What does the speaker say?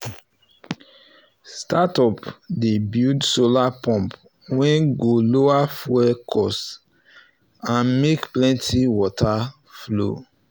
startup dey build solar pumps wey go lower fuel cost and make plenty water flow